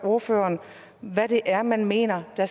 ordføreren hvad det er man mener der